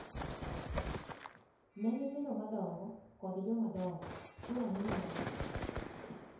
Ne nyithindo madongo kod jomadongo, sura neno marabora.